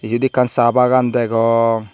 eyot ekkan sa bagan degong.